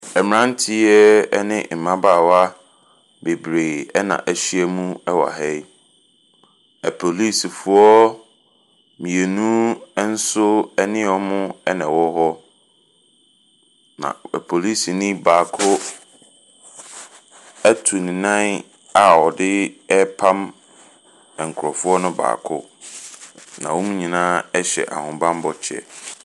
Mmranteɛ ne mmabaawa bebree ɛna ɛhyia mu ɛwɔ ha yi. Apolisifoɔ mmienu ɛnso ɛne wɔn na ɛwɔ hɔ. Na polisinii baako ɛtu ne nan a ɔde ɛrepam nkorɔfoɔ no baako. Na wɔn nyinaa hyɛ ahobanbɔ kyɛ.